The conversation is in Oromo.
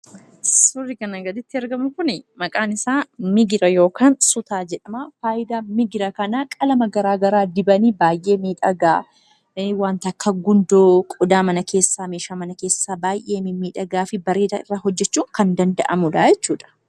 Suurri kan agaditti argamu maqaan isaa migira yookaan sutaa jedhama. Fayidaan isaa qalama garaagaraa dibanii baay'ee miidhagaa wanta akka gundoo meeshaa mana keessaa baay'ee mimmiidhagaa fi bareedaa hojjachuuf kan fayyadudha jechuudha.